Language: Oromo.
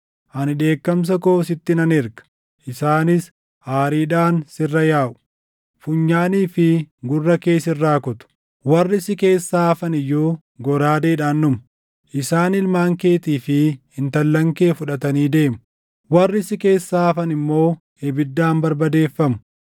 Ani dheekkamsa koo sitti nan erga; isaanis aariidhaan sirra yaaʼu. Funyaanii fi gurra kee sirraa kutu; warri si keessaa hafan iyyuu goraadeedhaan dhumu. Isaan ilmaan keetii fi intallan kee fudhatanii deemu. Warri si keessaa hafan immoo ibiddaan barbadeeffamu.